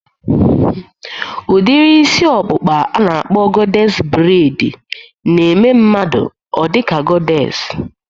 Udiri ịsị ọkpụkpaa a na-akpọ gọdés breid na-eme mmadụ ọ dị ka gọdés